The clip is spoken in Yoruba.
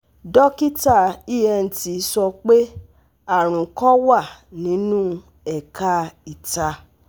dokita ENT sọ pe arun kan wa ninu ẹka ita